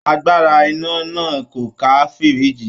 Agbára iná náà kò ká fìríìjì